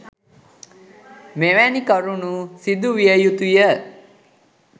මෙවැනි කරුණු සිදු විය යුතුය.